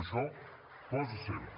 això cosa seva